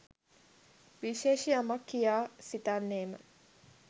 විශේෂ යමක් කියා සිතන්නේ ම